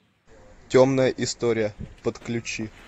темная история подключи